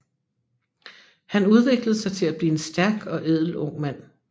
Han udviklede sig til at blive en stærk og ædel ung mand